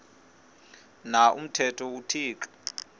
na umthetho uthixo